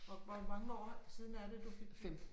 Og hvor mange år siden er det du fik